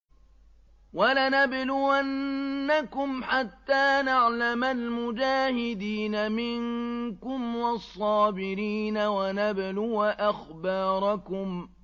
وَلَنَبْلُوَنَّكُمْ حَتَّىٰ نَعْلَمَ الْمُجَاهِدِينَ مِنكُمْ وَالصَّابِرِينَ وَنَبْلُوَ أَخْبَارَكُمْ